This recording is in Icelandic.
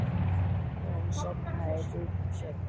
Og hún sofnaði djúpum svefni.